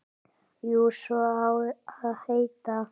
Jú, svo á að heita.